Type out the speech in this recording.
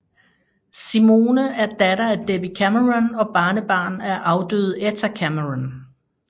Simone er datter af Debbie Cameron og barnebarn af afdøde Etta Cameron